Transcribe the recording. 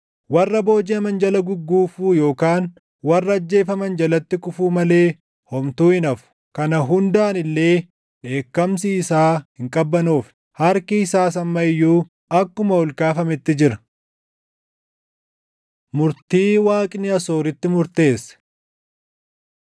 Warra boojiʼaman jala gugguufuu yookaan warra ajjeefaman jalatti kufuu malee homtuu hin hafu. Kana hundaan illee dheekkamsi isaa hin qabbanoofne; harki isaas amma iyyuu akkuma ol kaafametti jira. Murtii Waaqni Asooritti Murteesse